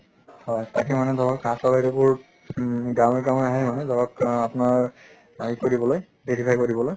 হয় তাকে মানে ধৰক বোৰ ঊম গাঁৱে গাঁৱে আহে মানে ধৰক আপোনাৰ কৰিবলৈ verify কৰিবলৈ